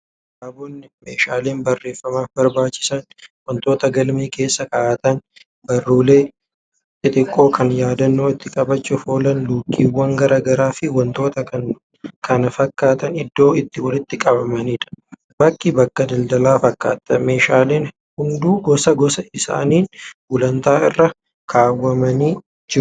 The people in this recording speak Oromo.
Kitaabonni, meeshaaleen baarreefamaaf barbaachisan, wantoota galmee keessa kaa'atan, barruulee xixiqqoo kan yaadannoo itti qabachuuf oolan luukiwwan garaagaraa fi wantoonni kana fafakkaatan iddoo itti walitti qabamaniidha. Bakki bakka daldalaa fakkaata. Meeshaaleen hunduu gosa gosa isaaniin gulantaa irra kaawwamanii jiru.